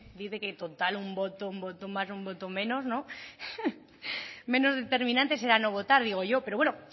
dice que total un voto un voto más un voto menos no menos determinante será no votar digo yo pero bueno